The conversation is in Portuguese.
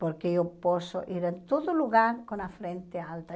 Porque eu posso ir a todo lugar com a frente alta.